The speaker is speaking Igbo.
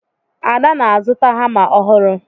Ada na-azụta hama ọhụrụ